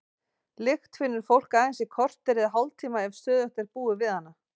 Lykt finnur fólk aðeins í korter eða hálftíma ef stöðugt er búið við hana.